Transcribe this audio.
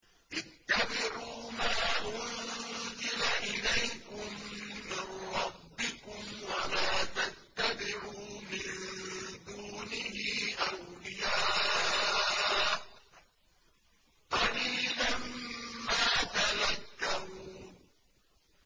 اتَّبِعُوا مَا أُنزِلَ إِلَيْكُم مِّن رَّبِّكُمْ وَلَا تَتَّبِعُوا مِن دُونِهِ أَوْلِيَاءَ ۗ قَلِيلًا مَّا تَذَكَّرُونَ